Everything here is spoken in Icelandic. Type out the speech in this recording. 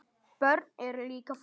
Börn eru líka fólk.